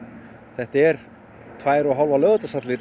þetta er tvær og hálfar